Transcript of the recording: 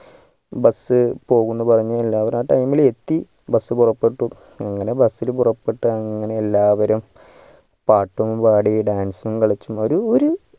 bus പോകുന്നു പറഞ്ഞു എല്ലാവരും ആ time ലെത്തി bus പുറപ്പെട്ടു അങ്ങനെ bus ഇൽ പുറപ്പെട്ടു അങ്ങനെ എല്ലാവരും പാട്ടും പാടി dance ഉം കളിച്ചു ഒരു ഒരു